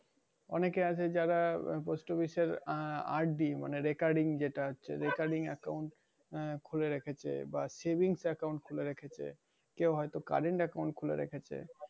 অনেকে আছে যারা post office এর আহ RD মানে recurring যেটা আছে মানে recurring account আহ খুলে রেখেছে বা savings account খুলে রেখেছে। কেউ হয়তো current account খুলে রেখেছে।